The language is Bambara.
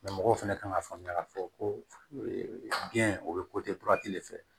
mɔgɔw fɛnɛ kan ka faamuya k'a fɔ ko biɲɛ o bɛ de fɛ